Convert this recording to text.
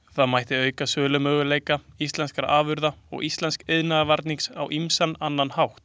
Það mætti auka sölumöguleika íslenskra afurða og íslensks iðnvarnings á ýmsan annan hátt.